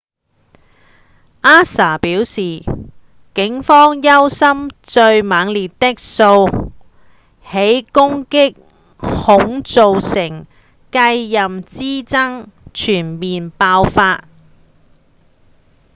ansa 表示警方憂心最猛烈的數起攻擊恐造成繼任之爭全面爆發